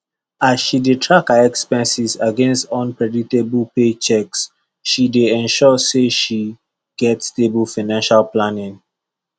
as she dey track her expenses against unpredictable paychecks she dey ensure say she get stable financial planning